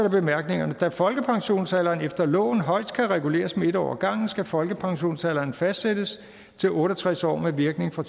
i bemærkningerne da folkepensionsalderen efter loven højest kan reguleres med en år ad gangen skal folkepensionsalderen fastsættes til otte og tres år med virkning fra